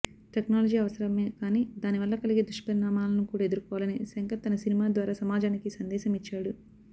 technology అవసరమే కానీ దాని వల్ల కలిగే దుష్పరిణామాలను కూడా ఎదుర్కోవాలని శంకర్ తన సినిమా ద్వారా సమాజానికి సందేశమిచ్చాడు